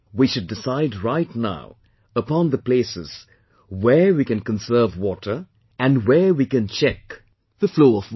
We should decide right now upon the places where we can conserve water and where we can check the flow of water